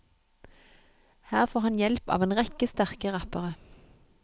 Her får han hjelp av en rekke sterke rappere.